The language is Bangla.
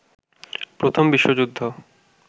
প্রথম বিশ্বযুদ্ধ